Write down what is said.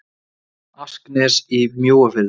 asknes í mjóafirði